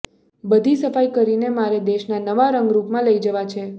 બધી સફાઈ કરીને મારે દેશના નવા રંગરૂપમાં લઈ જવા છે